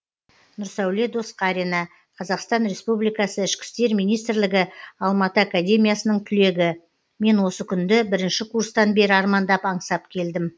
нұрсәуле досқарина қазақстан республикасы ішкі істер министрлігі алматы академиясының түлегі мен осы күнді бірінші курстан бері армандап аңсап келдім